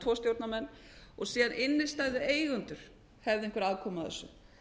tvo stjórnarmenn og síðan innstæðueigendur hefðu einhverja aðkomu að þessu